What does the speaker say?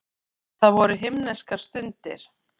Það voru himneskar stundir.